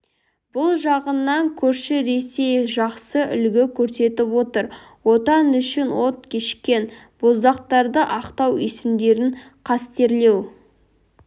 бұл жағынан көрші ресей жақсы үлгі көрсетіп отыр отан үшін от кешкен боздақтарды ақтау есімдерін қастерлеу